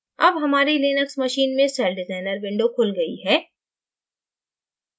अब हमारी linux machine में celldesigner window खुल गई है